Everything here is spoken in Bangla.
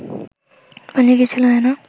পালিয়ে গিয়েছিল হেনা